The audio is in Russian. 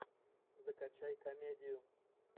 закачай комедию